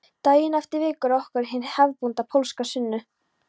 Daginn eftir vekur okkur hin hefðbundna pólska sunnu